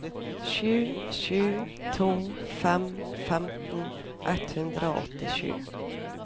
sju sju to fem femten ett hundre og åttisju